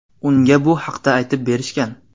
Unga bu haqda aytib berishgan.